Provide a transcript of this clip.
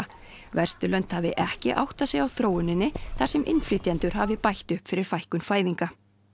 Vesturlönd hafi ekki áttað sig á þróuninni þar sem innflytjendur hafi bætt upp fyrir fækkun fæðinga